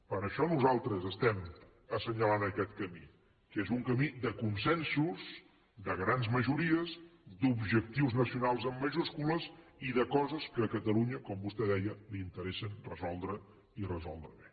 per això nosaltres estem assenyalant aquest camí que és un camí de consensos de grans majories d’objectius nacionals amb majúscules i de coses que a catalunya com vostè deia li interessa resoldre les i resoldre les bé